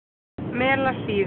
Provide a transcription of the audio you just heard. Melasíðu